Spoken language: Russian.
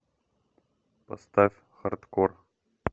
поставь хардкор